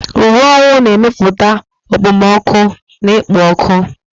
Uwe owu na-emepụta okpomọkụ na ikpo ọkụ.